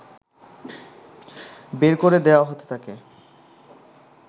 বের করে দেয়া হতে থাকে